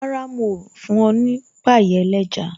Rárá, mi ò fún ọ ní pie ẹlẹ́ja